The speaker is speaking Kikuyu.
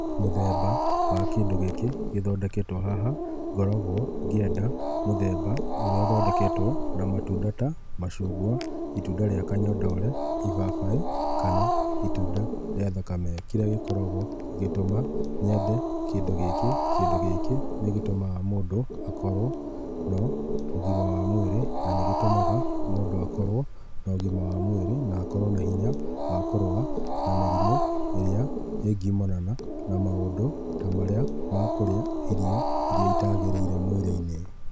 Mũthemba wa kĩndũ gĩkĩ gĩthondeketwe haha ngoragwo ngĩenda mũthemba ũrĩa ũthondeketwo na matunda ta macungwa, itunda rĩa kanyondore, ibabaĩ, kana itunda rĩa thakame, kĩrĩa gĩtũmaga nyende kĩndũ gĩkĩ ,kĩndũ gĩkĩ nĩgĩtũmaga mũndũ akorwo na ũgima wa mwĩrĩ na nĩgĩtũmaga mũndũ akorwe na ũgima wa mwĩrĩ na akorwo na hinya wa kũrũa na mĩrĩmũ ĩrĩa ĩngumana na maũndũ ta marĩa ma kũrĩa irio irĩa itagĩrĩire mwĩrĩinĩ.